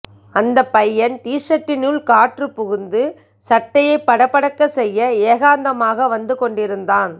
அந்த பையன் டீசர்ட்டினுள் காற்று புகுந்து சட்டையை படபடக்க செய்ய ஏகாந்தமாக வந்து கொண்டிருந்தான்